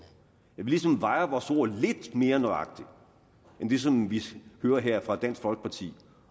ligesom vejer vores ord lidt mere nøjagtigt end det som vi hører her fra dansk folkeparti